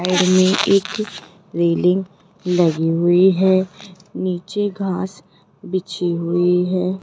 Side एक railing लगी हुई है नीचे घास बिछी हुई है।